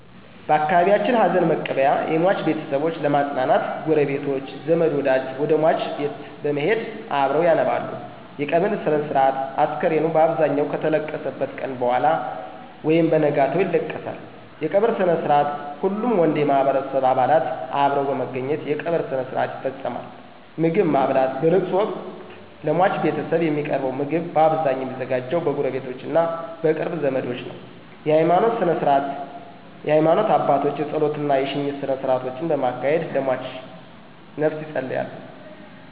በአካባቢየችን ሀዘንመቀበያ የሟች ቤተሰቦች ለመጽናናት ጉረቤቶች፣ ዘመድወደጅ ወደሟች ቤት በመሄድ አብረዉ ያነባሉ _የቀብር ስነስርአት፣ አስከሬኑ ባብዛኘዉ ከተለቀሰበት ቀነ በኋላ ወይም በነጋታው ይለቀሳል ይለቀሳል_የቀበርስነስርአትሁሉም ወንድ የማህበረሰቡ አባላት አብረዉ በመገኘት የቀብር ስርአት ይፈጸማል _ምግብማብላት በለቅሶወቅት ለሟች ቤተሰብ የሚቀርበዉ ምግብ ባብዛኘዉ የሚዘጋጀዉ በጉረቤቶቾ እና በቅርብ ዘመዶች ነዉ ነዉ_የሀይማኖት ስነስርዓት የሀይማኖት አባቶች የጾለት እና የሽኝት ስነስርአቶችን በማካሄድ ለሟችነፍስ የጸልያሉ።